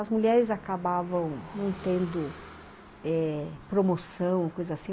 As mulheres acabavam não tendo eh promoção ou coisa assim.